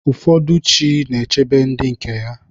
Ụfọdụ chi na-echebe ndị nke ya.